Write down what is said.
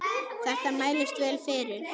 Þetta mælist vel fyrir.